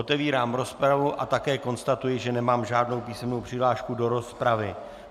Otevírám rozpravu a také konstatuji, že nemám žádnou písemnou přihlášku do rozpravy.